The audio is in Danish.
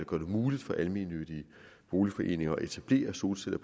gør det muligt for almennyttige boligforeninger at etablere solceller